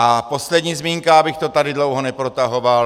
A poslední zmínka, abych to tady dlouho neprotahoval.